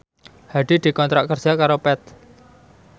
Hadi dikontrak kerja karo Path